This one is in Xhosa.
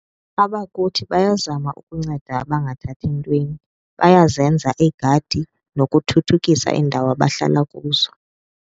Abakuthi bayazama ukunceda abangathathi ntweni, bayazenza iigadi nokuthuthukisa iindawo abahlala kuzo.